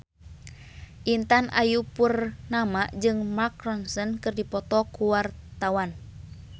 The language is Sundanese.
Intan Ayu Purnama jeung Mark Ronson keur dipoto ku wartawan